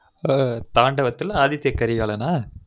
ம்ம் தாண்டவதுல ஆதித்தியகரிகாலனா